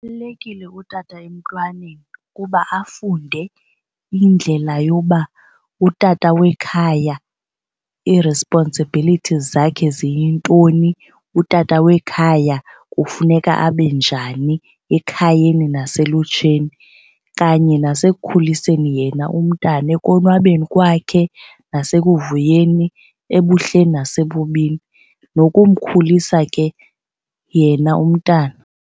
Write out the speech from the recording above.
Ubalulekile utata emntwaneni kuba afunde indlela yoba utata wekhaya i-responsibilities zakhe ziyintoni, utata wekhaya kufuneka abe njani ekhayeni naselutsheni kanye nasekukhuliseni yena umntana ekonwabeni kwakhe nasekuvuyeni ebuhleni nasebubini, nokumkhulisa ke yena umntana.